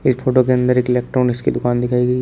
इस फोटो के अंदर एक इलेक्ट्रॉनिक्स की दुकान दिखाई गई है।